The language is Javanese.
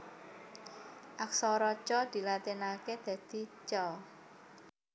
Aksara Ca dilatinaké dadi Ca